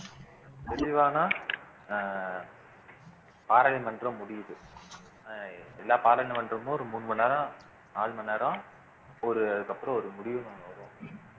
தெளிவான அஹ் பாராளுமன்றம் முடியுது அஹ் எல்லா பாராளுமன்றமும் ஒரு மூணு மணி நேரம் நாலு மணி நேரம் ஒரு அதுக்கப்புறம் ஒரு முடிவு ஒண்ணு வரும்